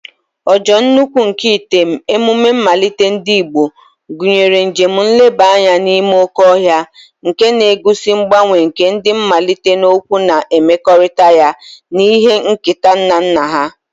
Ojo nkwu nke item, emume nmalite ndi Igbo, gunyere njem nleba anya n'ime oke ohia, nke na-egosi ngbanwe nke ndi nmalite n'okwa na mmekorita ya na ihe nketa nna nna ha.